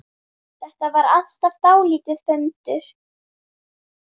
Þetta var alltaf dálítið föndur.